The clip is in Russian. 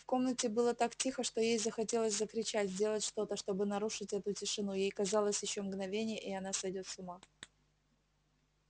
в комнате было так тихо что ей захотелось закричать сделать что-то чтобы нарушить эту тишину ей казалось ещё мгновение и она сойдёт с ума